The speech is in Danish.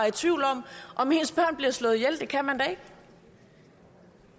i tvivl om om ens børn bliver slået ihjel det kan man da